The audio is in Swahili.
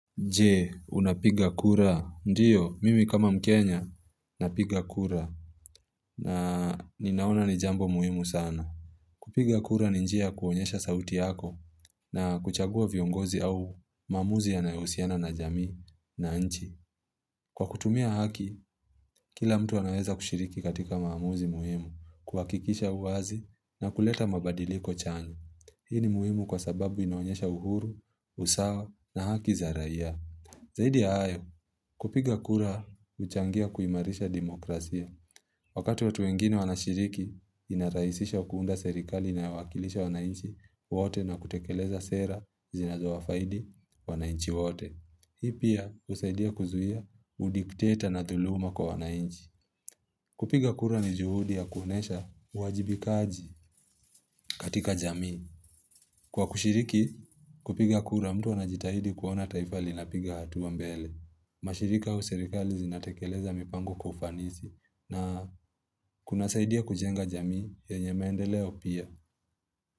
Je, unapiga kura. Ndiyo, mimi kama mkenya napiga kura na ninaona ni jambo muhimu sana. Kupiga kura ni njia ya kuonyesha sauti yako na kuchagua viongozi au maamuzi yanayohusiana na jamii na nchi. Kwa kutumia haki, kila mtu anaweza kushiriki katika maamuzi muhimu, kuhakikisha uwazi na kuleta mabadiliko chanyu. Hii ni muhimu kwa sababu inaonyesha uhuru, usawa na haki za raia. Zaidi ya hayo, kupiga kura huchangia kuimarisha demokrasia. Wakati watu wengine wanashiriki, inarahisisha kuunda serikali inayowakilisha wananchi wote na kutekeleza sera zinazowafaidi wananchi wote. Hii pia, usaidia kuzuhia, udikteta na dhuluma kwa wananchi. Kupiga kura ni juhudi ya kuonyesha uwajibikaji katika jamii. Kwa kushiriki, kupiga kura mtu anajitahidi kuona taifa linapiga hatua mbele. Mashirika huu serikali zinatekeleza mipango kwa ufanisi na kuna saidia kujenga jamii yenye maendeleo pia.